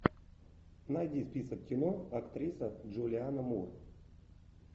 найди список кино актриса джулианна мур